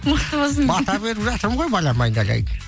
мықты болсын бата беріп жатырмын ғой балам айналайын